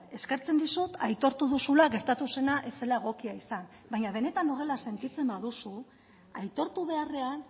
eskertzen dizut aitortu duzula gertatu zena ez zela egokia izan baina benetan horrela sentitzen baduzu aitortu beharrean